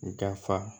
U da fa